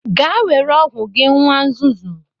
Gaa were ọgwụ gị nwa nzuzu!